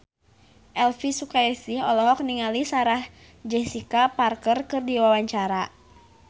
Elvi Sukaesih olohok ningali Sarah Jessica Parker keur diwawancara